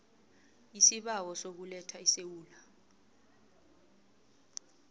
isibawo sokuletha esewula